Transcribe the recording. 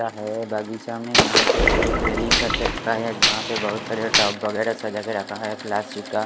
का है बाकी चामीनग यहाँ पे एक रैलिंग कर के गया है जहाँ पे बहुत सारे टब वगैरा सजा के रखा है प्लास्टिक का --